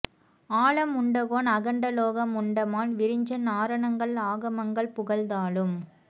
ஆலம் உண்ட கோன் அகண்ட லோகம் உண்ட மால் விரிஞ்சன் ஆரணங்கள் ஆகமங்கள் புகழ் தாளும்